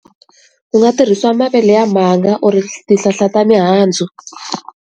U nga tirhisa mavele ya mhanga or ti tihlahla ta mihandzu.